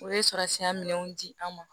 U bɛ sɔrɔ senya minɛnw di an ma